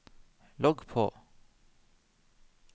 logg på